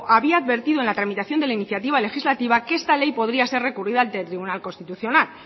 había advertido en la tramitación de la iniciativa legislativa que esta ley podría ser recurrida ante el tribunal constitucional luego